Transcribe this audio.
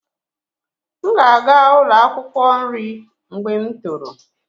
M ga-aga ụlọ akwụkwọ nri mgbe m toro